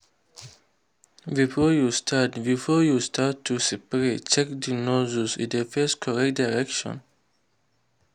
before you start before you start to spray check say the nozzle dey face correct direction.